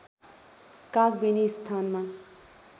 कागबेनी स्थानमा